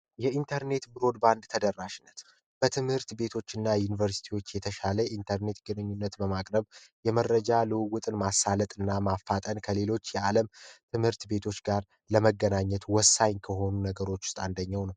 የኢንተርኔት ብሮድባንድ ተደራሽነት በትምህርት ቤቶችና ዩኒቨርሲቲዎች የተሻለ የኢንተርኔት ግንኙነት በማቅረብ የመረጃ ልውውጥ ማሳለጥና ማፋጠን ከሌሎች የዓለም ትምህርት ቤቶች ጋር ለመገናኘት ወሳኝ ከሆኑ ነገሮች ውስጥ አንደኛው ነው።